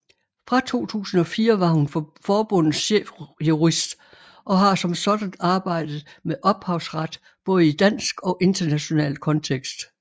Fra 2004 var hun forbundets chefjurist og har som sådan arbejdet med ophavsret både i dansk og international kontekst